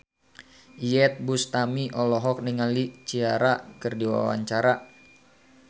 Iyeth Bustami olohok ningali Ciara keur diwawancara